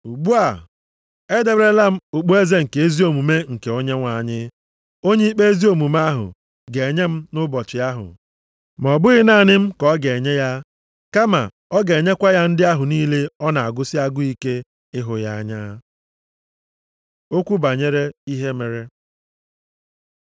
Ugbu a, e deberela m okpueze nke ezi omume, nke Onyenwe anyị, onye ikpe ezi omume ahụ, ga-enye m nʼụbọchị ahụ. Ma ọ bụghị naanị m ka ọ ga-enye ya, kama ọ ga-enyekwa ya ndị ahụ niile ọ na-agụsị agụ ike ịhụ ya anya. Okwu banyere ihe mere